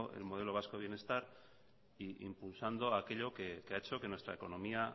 el modelo vasco de bienestar e impulsando aquello que ha hecho que nuestra economía